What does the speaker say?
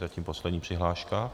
Zatím poslední přihláška.